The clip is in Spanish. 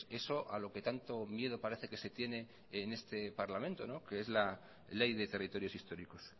eso a lo que tanto miedo parece que se tiene en este parlamento que es la ley de territorios históricos